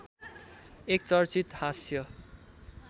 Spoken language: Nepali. एक चर्चित हाँस्य